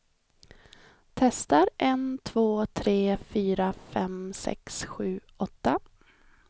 Testar en två tre fyra fem sex sju åtta.